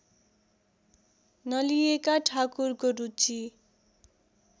नलिएका ठाकुरको रुचि